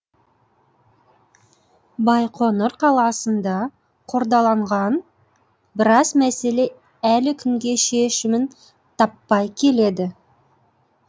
байқоңыр қаласында қордаланған біраз мәселе әлі күнге шешімін таппай келеді